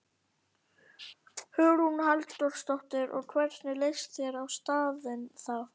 Hugrún Halldórsdóttir: Og, hvernig leist þér á staðinn þá?